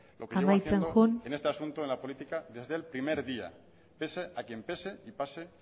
amaitzen joan en este asunto en la política desde el primer día pese a quien pese y pase